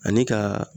Ani ka